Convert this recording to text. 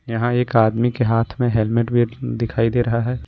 यहां एक आदमी के हाथ में हेल्मेट भी दिखाई दे रहा है।